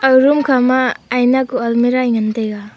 aga room khama aina ku almirah ee ngantaiga.